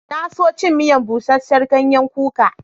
Na so cin miyan buseser ganyen kuka.